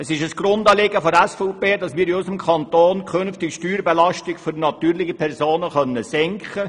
Es ist ein Grundanliegen der SVP, dass wir in unserem Kanton künftig die Steuerbelastung für natürliche Personen senken.